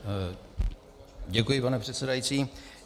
Děkuji, pane předsedající.